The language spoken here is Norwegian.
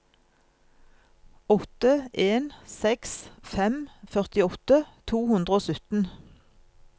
åtte en seks fem førtiåtte to hundre og sytten